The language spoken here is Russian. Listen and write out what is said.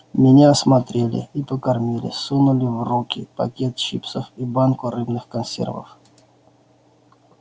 меня осмотрели и покормили сунули в руки пакет чипсов и банку рыбных консервов